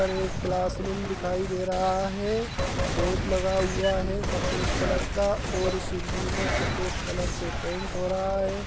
और एक class room दिखाई दे रहा है बोर्ड लगा हुआ है सफ़ेद कलर का और उस रूम में सफ़ेद कलर से पेट हो रहा है।